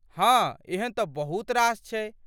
हाँ ,एहन तँ बहुत रास छै।